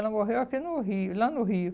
Ela morreu aqui no Rio, lá no Rio.